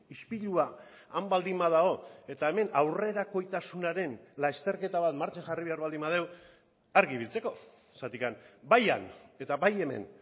ispilua han baldin badago eta hemen aurrerakoitasunaren lasterketa bat martxan jarri behar baldin badugu argi ibiltzeko zergatik bai han eta bai hemen